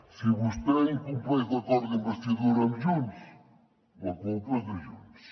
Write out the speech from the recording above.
si vostè incompleix l’acord d’investidura amb junts la culpa és de junts